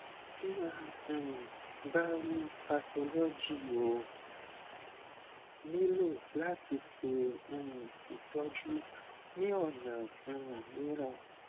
ti a um ba rii pathology o nilo lati ṣe um itọju ni ọna um miiran